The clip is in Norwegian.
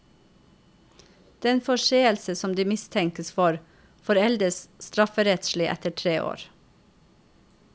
Den forseelse som de mistenkes for, foreldes strafferettslig etter tre år.